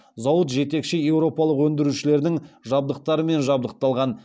зауыт жетекші еуропалық өндірушілердің жабдықтарымен жабдықталған